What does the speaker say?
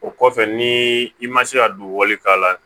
O kɔfɛ ni i ma se ka don wali k'a la